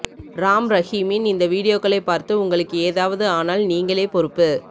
ராம் ரஹீமின் இந்த வீடியோக்களை பார்த்து உங்களுக்கு ஏதாவது ஆனால் நீங்களே பொறுப்பு